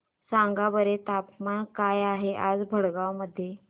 सांगा बरं तापमान काय आहे आज भडगांव मध्ये